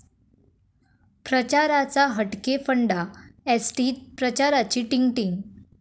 प्रचाराचा 'हटके' फंडा, एसटीत प्रचाराची 'टींग टींग'!